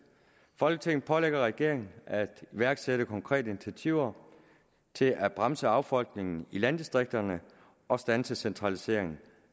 folketinget pålægger regeringen at iværksætte konkrete initiativer til at bremse affolkningen i landdistrikterne og standse centraliseringen